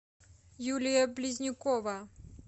юлия близнюкова